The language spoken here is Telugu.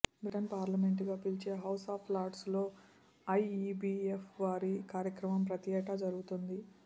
బ్రిటన్ పార్లమెంట్ గా పిలిచే హౌస్ ఆఫ్ లార్డ్స్ లో ఐఇబి ఎఫ్ వారి కార్యక్రమం ప్రతిఏటా జరుగుతుంది